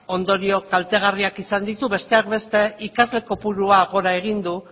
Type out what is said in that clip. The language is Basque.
ondorio kaltegarriak izan ditu besteak beste ikasle kopuruak gora egin du